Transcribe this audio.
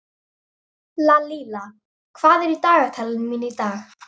Lalíla, hvað er í dagatalinu mínu í dag?